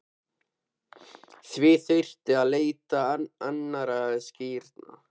Því þurfti að leita annarra skýringa.